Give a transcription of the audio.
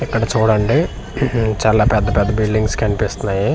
ఇక్కడ చూడండి ఉహూ చాలా పెద్ద పెద్ద బిల్డింగ్స్ కనిపిస్తున్నాయి--